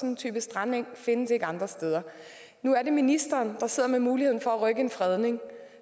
en type strandeng findes ikke andre steder nu er det ministeren der sidder med muligheden for at rykke en fredning